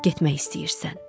Getmək istəyirsən?